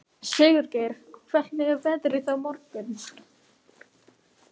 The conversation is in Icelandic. Sigurgeir, hvernig er veðrið á morgun?